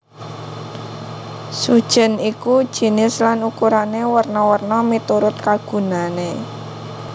Sujèn iku jinis lan ukurané werna werna miturut kagunané